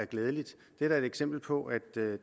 glædeligt det er da et eksempel på at